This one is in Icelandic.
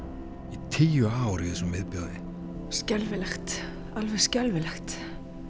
í tíu ár í þessum viðbjóði skelfilegt alveg skelfilegt